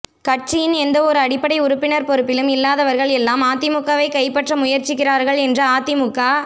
கட்சியின் எந்த ஒரு அடிப்படை உறுப்பினர் பொறுப்பிலும் இல்லாதவர்கள் எல்லாம் அதிமுகவை கைப்பற்ற முயற்சிக்கிறார்கள் என்று அதிமுக